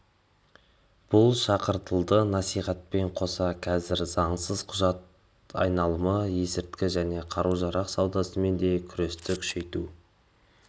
да шақыртылды насихатпен қоса қазір заңсыз қаражат айналымы есірткі және қару-жарақ саудасымен де күресті күшейту